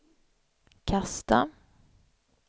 kasta